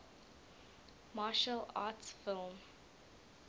martial arts film